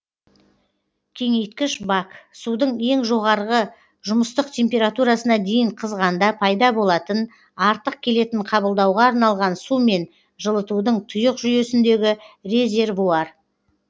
кеңейткіш бак судың ең жоғарғы жұмыстық температурасына дейін қызғанда пайда болатын артық келетін қабылдауға арналған сумен жылытудың тұйық жүйесіндегі резервуар